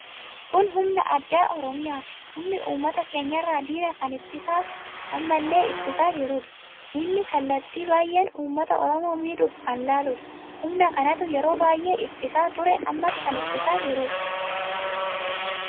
Kun humna addaa oromiyaati. Humni ummata keenyarra diina kan ittisa ammallee ittisaa jiruudha. Diinni kallattii baay'een ummata oromo miidhuf kan laaludha. Humna kanatu yeroo baay'ee ittisaa ture ammas kan ittisaa jiruudha.